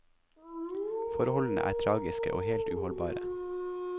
Forholdene er tragiske og helt uholdbare.